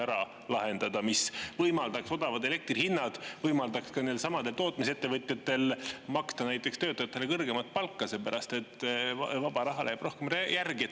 Selle odava elektri ja võimaldaks näiteks nendelsamadel tootmisettevõtjatel maksta töötajatele kõrgemat palka, sest vaba raha jääks rohkem järgi.